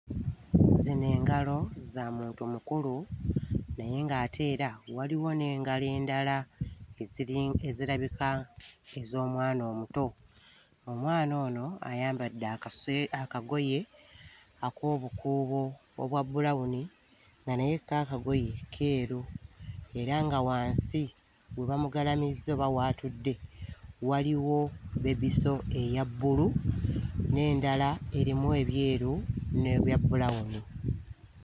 Zino engalo za muntu mukulu naye ng'ate era waliwo n'engalo endala eziri... ezirabika ez'omwana omuto. Omwana ono ayambadde akaswe... akagoye ak'obukuubo obwa bbulawuni nga naye kko akagoye keeru era nga wansi we bamugalamizza oba w'atudde waliwo bebisso eya bbulu n'endala erimu ebyeru n'ebya bbulawuni.